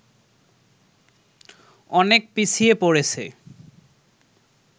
অনেক পিছিয়ে পড়েছে